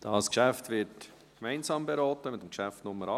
Das Geschäft wird gemeinsam beraten mit dem Geschäft Nr. 48.